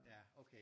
Ja okay